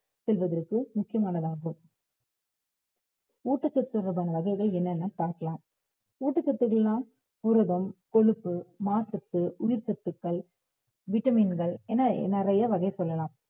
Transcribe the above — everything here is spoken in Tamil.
செல்வதற்கு முக்கியமானதாகும் ஊட்டச்சத்து தொடர்பான வகைகள் என்னென்னன்னு பார்க்கலாம் ஊட்டச்சத்துக்கெல்லாம் புரதம், கொழுப்பு, நார்சத்து, உயிர்ச்சத்துக்கள் vitamin கள் என நிறைய வகை சொல்லலாம்.